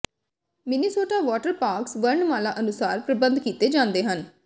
Minnesota water parks ਵਰਣਮਾਲਾ ਅਨੁਸਾਰ ਪ੍ਰਬੰਧ ਕੀਤੇ ਜਾਂਦੇ ਹਨ